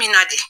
Min na de